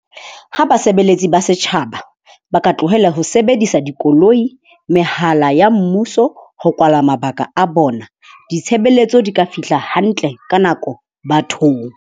Ha basebeletsi ba setjhaba ba ka tlohella ho sebedisa dikoloi, mehala ya mmuso ho kwala mabaka a bona, ditshebeletso di ka fihla hantle ka nako bathong.